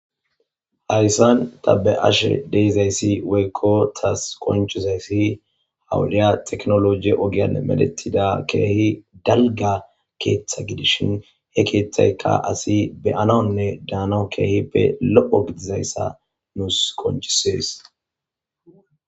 Hayssan ta be'ashe de'izayssi woykko taas qonccizayssi ha wodiya teknoloje ogiyan medhetida keehi dalgga keeththa gidishin he keeththaykka asi be'anawunne daanaw keehippe lo'o gididayssa nuus qonccisees.